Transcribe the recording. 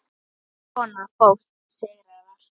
Svona fólk sigrar alltaf.